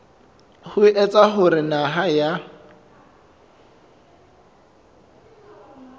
ho etsa hore naha ya